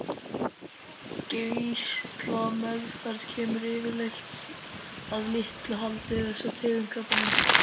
Geislameðferð kemur yfirleitt að litlu haldi við þessa tegund krabbameins.